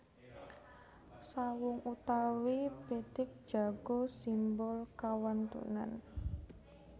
Sawung utawi pitik jago simbol kawantunan